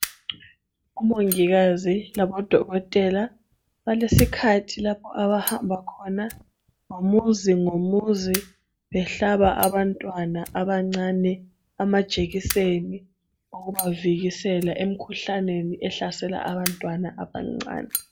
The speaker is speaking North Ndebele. Omongikazi labodokotela balesikhathi lapho abahamba khona ngomuzi ngomuzi behlaba abantwana abancane amajekiseni okubavikela emkhuhlaneni ehlasela abantwana abancane.